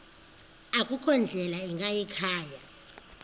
akukho ndlela ingayikhaya